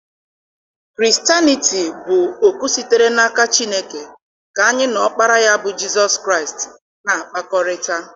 Kristanịtii bụ oku sitere n'aka Chineke ka anyị na Ọkpara ya bụ Jizọs Kraịst na-akpakọrịta.